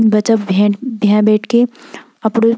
बच्चा भें भें बैठके अपड़ु --